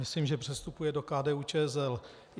Myslím, že přestupuje do KDU-ČSL.